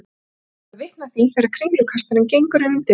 Ég ætla að verða vitni að því þegar kringlukastarinn gengur innum dyrnar.